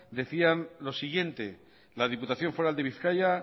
decían lo siguiente la diputación foral de bizkaia